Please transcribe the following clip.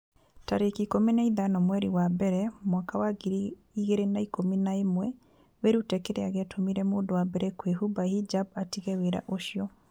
tarĩki ikũmi na ithano mweri wa mbere mwaka wa ngiri igĩrĩ na ikũmi na ĩmweWĩrute kĩrĩa gĩatũmire mũndũ wa mbere kũhumba hijab 'atige wĩra ũcio.